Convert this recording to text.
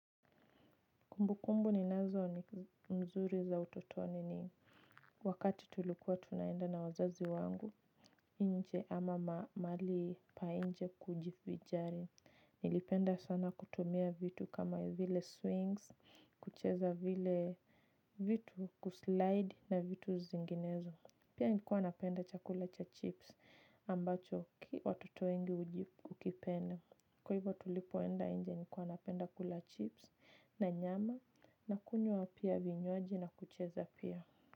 Kumbukumbu ninazo ni mzuri za utotoni ni wakati tulikuwa tunaenda na wazazi wangu, nje ama mahali pa nje kujivinjari. Nilipenda sana kutumia vitu kama vile swings, kucheza vile vitu kuslide na vitu zinginezo. Pia nilikuwa napenda chakula cha chips ambacho watoto wengi hukipenda. Kwa hivyo tulipoenda nje nilikuwa napenda kula chips na nyama na kunywa pia vinywaji na kucheza pia.